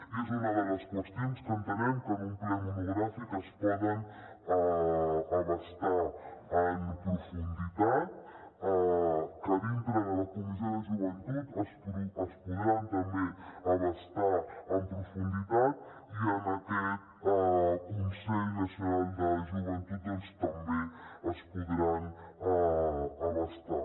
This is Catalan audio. i és una de les qüestions que entenem que en un ple monogràfic es poden abastar en profunditat que a dintre de la comissió de joventut es podran també abastar en profunditat i en aquest consell nacional de joventut doncs també es podran abastar